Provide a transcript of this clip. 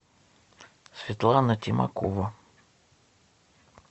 светлана тимакова